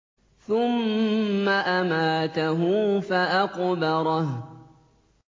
ثُمَّ أَمَاتَهُ فَأَقْبَرَهُ